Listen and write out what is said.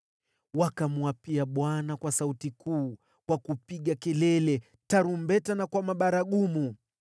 Wakamwapia Bwana kwa sauti kuu, kwa kupiga kelele, tarumbeta na kwa mabaragumu.